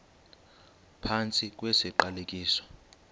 phantsi kwesi siqalekiso